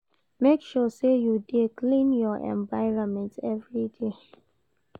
Make sure say you de clean your environment every day